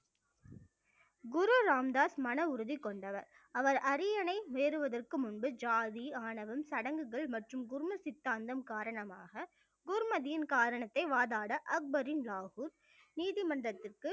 குரு ராமதாஸ் மன உறுதி கொண்டவர் அவர் அரியணை ஏறுவதற்கு முன்பு ஜாதி, ஆணவம், சடங்குகள் மற்றும் குரும சித்தாந்தம் காரணமாக குருமதியின் காரணத்தை வாதாட அக்பரின் லாகூர் நீதிமன்றத்திற்கு